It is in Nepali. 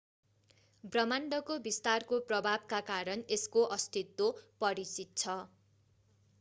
ब्रह्माण्डको विस्तारको प्रभावका कारण यसको अस्तित्व परिचित छ